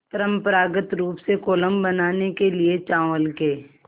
परम्परागत रूप से कोलम बनाने के लिए चावल के